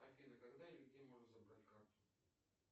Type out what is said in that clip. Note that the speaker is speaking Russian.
афина когда и где можно забрать карту